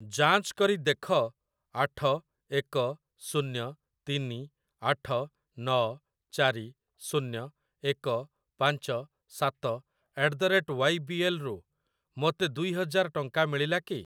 ଯାଞ୍ଚ କରି ଦେଖ ଆଠ ଏକ ଶୂନ୍ୟ ତିନି ଆଠ ନ ଚାରି ଶୂନ୍ୟ ଏକ ପାଞ୍ଚ ସାତ at the rate Y B L ରୁ ମୋତେ ଦୁଇ ହଜାର ଟଙ୍କା ମିଳିଲା କି?